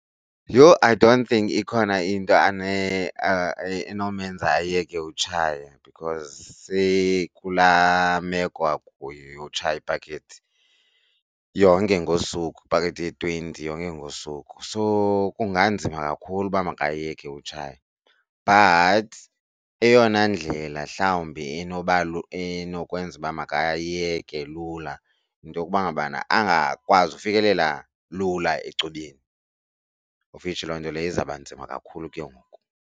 Yho! I don't think ikhona into enomenza ayeke utshaya because seyikulaa meko akuyo yotshaya ipakethi yonke ngosuku ipakethi ye-twenty yonke ngosuku. So kunganzima kakhulu uba makayeke utshaye. But eyona ndlela mhlawumbi enoba enokwenza uba makayeke lula yinto yokuba ngabana angakwazi ukufikelela lula ecubeni of which loo nto leyo izawuba nzima kakhulu ke ngoku.